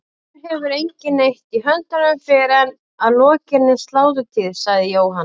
Hér hefur enginn neitt í höndunum fyrr en að lokinni sláturtíð, sagði Jóhann.